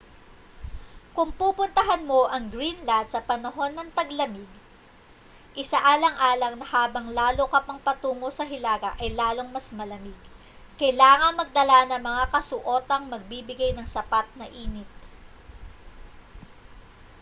kung pupuntahan mo ang greenland sa panahon ng taglamig isaalang-alang na habang lalo ka pang patungo sa hilaga ay lalong mas malamig kailangang magdala ng mga kasuotang magbibigay ng sapat na init